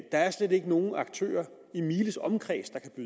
er slet ikke nogen aktører i miles omkreds der kan